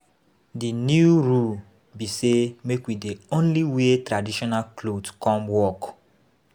The new rule be say make we dey only wear traditional cloth come work.